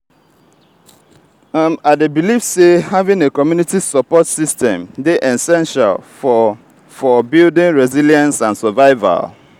i dey believe say having a community support system dey essential for for building resilience and survival.